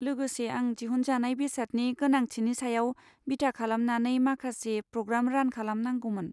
लोगोसे, आं दिहुनजानाय बेसादनि गोनांथिनि सायाव बिथा खालामनानै माखासे प्रग्राम रान खालामनांगौमोन।